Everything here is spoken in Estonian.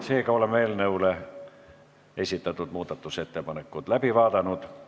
Seega oleme eelnõu kohta esitatud muudatusettepanekud läbi vaadanud.